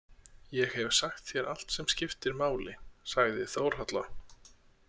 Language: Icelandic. Ég hef sagt þér allt sem skiptir máli, sagði Þórhalla.